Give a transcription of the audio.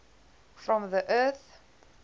from the earth